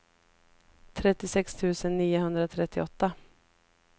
trettiosex tusen niohundratrettioåtta